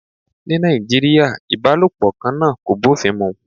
Ní Nàìjíríà, ìbálòpọ̀ kan náà kò bófin mu